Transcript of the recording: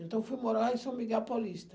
Então, fui morar em São Miguel Paulista.